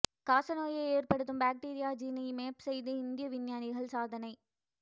காச நோயை ஏற்படுத்தும் பாக்டீரியா ஜீனை மேப் செய்து இந்திய விஞ்ஞானிகள் சாதனை